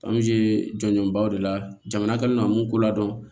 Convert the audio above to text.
jɔnjɔnba de la jamana kɛlen don ka mun ko ladɔn